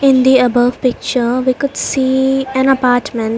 In the above picture we could see an apartment.